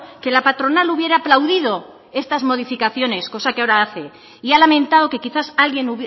que la patronal hubiera aplaudido estas modificaciones cosa que ahora hace y ha lamentado que quizás alguien